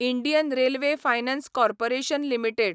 Indian railway finance corporation limited